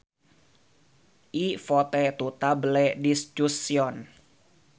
I vote to table discussion